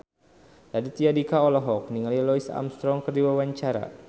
Raditya Dika olohok ningali Louis Armstrong keur diwawancara